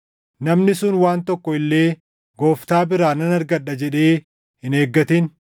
Namni sun waan tokko illee Gooftaa biraa nan argadha jedhee hin eeggatin;